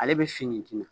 Ale bɛ finti